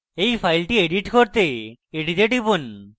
এই file edit করতে এটিতে টিপুন